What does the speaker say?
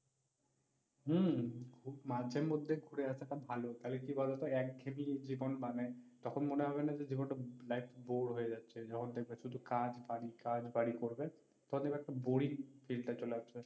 হম মাঝে মধ্যে ঘুরে আসাটা ভালো। তাহলে কি বলোতো একঘেয়েমি জীবন মানে তখন মনে হবে না জীবনটা life bore হয়ে যাচ্ছে, যখন দেখবে শুধু কাজ বাড়ি, কাজ বাড়ি করবে তখন দেখবা boring feel চলে আসছে